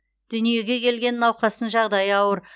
дүниеге келген науқастың жағдайы ауыр